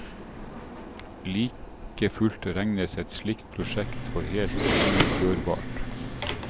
Likefullt regnes et slik prosjekt for helt gjennomførbart.